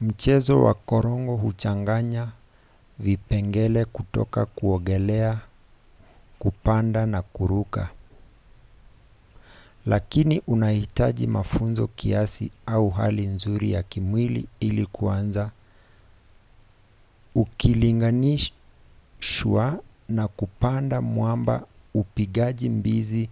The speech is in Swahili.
mchezo wa korongo huchanganya vipengele kutoka kuogelea kupanda na kuruka--lakini unahitaji mafunzo kiasi au hali nzuri ya kimwili ili kuanza ukilinganishwa na kupanda mwamba upigaji mbizi